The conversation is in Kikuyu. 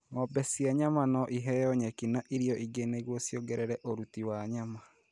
Ng'ombe cia nyama no iheo nyeki na irio ingĩ nĩguo ciongerere ũruti wa nyama.